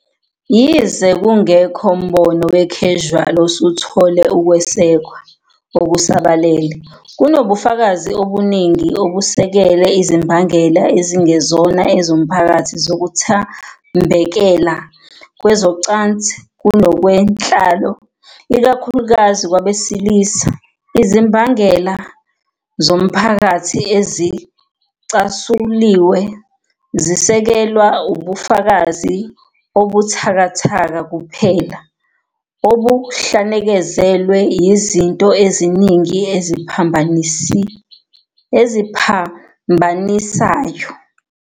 Yize kungekho mbono we-causal osuthole ukwesekwa okusabalele, kunobufakazi obuningi obusekela izimbangela ezingezona ezomphakathi zokuthambekela kwezocansi kunokwenhlalo, ikakhulukazi kwabesilisa. Izimbangela zomphakathi ezicasuliwe zisekelwa ubufakazi obubuthakathaka kuphela, obuhlanekezelwe yizinto eziningi eziphambanisayo.